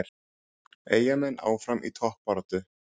Eyjamenn áfram í toppbaráttu